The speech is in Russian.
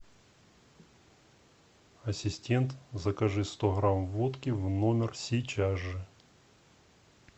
ассистент закажи сто грамм водки в номер сейчас же